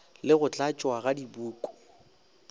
le go tlatšwa ga dipuku